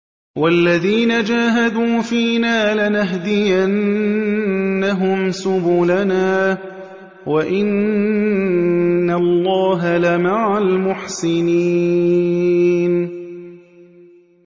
وَالَّذِينَ جَاهَدُوا فِينَا لَنَهْدِيَنَّهُمْ سُبُلَنَا ۚ وَإِنَّ اللَّهَ لَمَعَ الْمُحْسِنِينَ